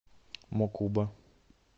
мокуба